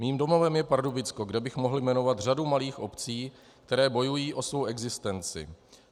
Mým domovem je Pardubicko, kde bych mohl jmenovat řadu malých obcí, které bojují o svou existenci.